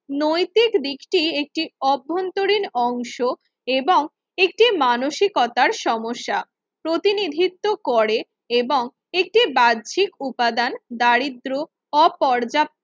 নৈতিক দিকটি একটি অভ্যন্তরীণ অংশ এবং একটি মানসিকতার সমস্যা প্রতিনিধিত্ব করেন এবং একটি বাহ্যিক উপাদান দারিদ্র ও পর্যাপ্ত